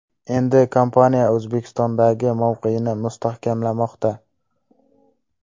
Endi kompaniya O‘zbekistondagi mavqeyini mustahkamlamoqda.